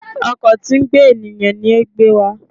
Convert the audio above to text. Ọkọ̀ tí ń gbé ènìyàn ní o gbe wa